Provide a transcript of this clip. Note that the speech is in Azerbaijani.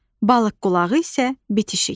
Balıq qulağı isə bitişik.